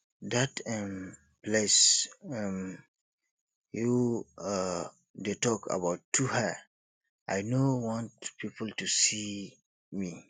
dat um place um you um dey talk about too high i know want people to see me